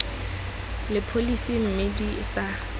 le pholesi mme di sa